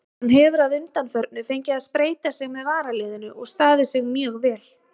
Hann hefur að undanförnu fengið að spreyta sig með varaliðinu og staðið sig mjög vel.